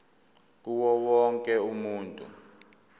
kuwo wonke umuntu